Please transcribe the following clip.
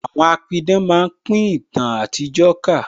Àwọn apidán máa pin ìtàn àtijó ká